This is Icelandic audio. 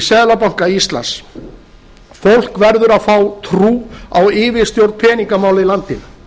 seðlabanka íslands fólk verður að fá trú á yfirstjórn peningamála í landinu